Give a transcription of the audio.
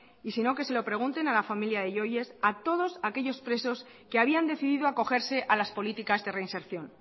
y si no que se lo pregunten a la familia de yoyes a todos aquellos presos que habían decidido acogerse a las políticas de reinserción